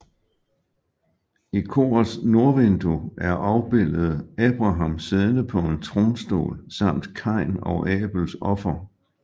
I korets nordvindue er afbildet Abraham siddende på en tronstol samt Kain og Abels offer